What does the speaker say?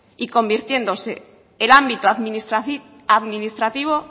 y convirtiéndose el ámbito administrativo